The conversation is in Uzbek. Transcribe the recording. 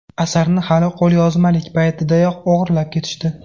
Asarni hali qo‘lyozmalik paytidayoq o‘g‘irlab ketishdi.